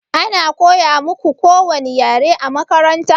Ana koya muƙu kowani ƴare a maƙaranta?